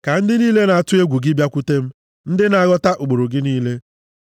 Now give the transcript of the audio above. Ka ndị niile na-atụ egwu gị bịakwute m, ndị na-aghọta ụkpụrụ gị niile.